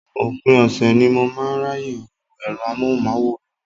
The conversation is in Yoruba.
Òpin ọ̀sẹ̀ ni mo máa ń ráyè wo ẹ̀rọ amóhùnmáwòrán.